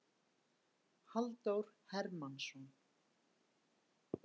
Halldór Hermannsson.